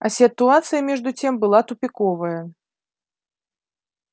а ситуация между тем была тупиковая